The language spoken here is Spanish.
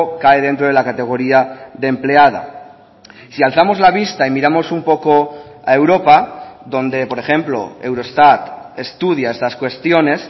cae dentro de la categoría de empleada si alzamos la vista y miramos un poco a europa donde por ejemplo eurostat estudia estas cuestiones